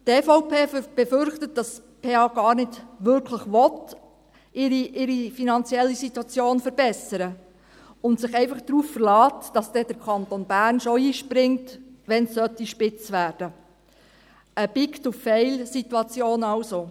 Die EVP befürchtet, dass die PH ihre finanzielle Situation gar nicht wirklich verbessern will und sich einfach darauf verlässt, dass dann der Kanton Bern schon einspringt, wenn es spitz werden sollte: eine Too-big-to-fail-Situation also.